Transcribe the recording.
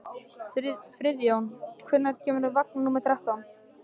Friðjón, hvenær kemur vagn númer þrettán?